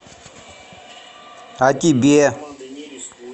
а тебе